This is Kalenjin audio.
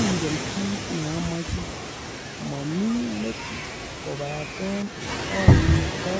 "Ongen kiit neamachei ,mo mii metit kabate oindo